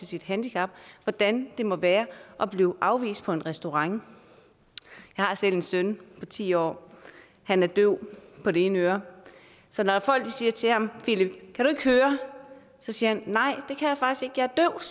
sit handicap hvordan det må være at blive afvist på en restaurant jeg har selv en søn på ti år han er døv på det ene øre så når folk siger til ham philip kan du ikke høre så siger han nej